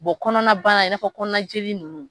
kɔnɔna bana i n'a fɔ kɔnɔna joli ninnu